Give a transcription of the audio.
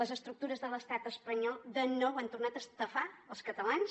les estructures de l’estat espanyol de nou han tornat a estafar els catalans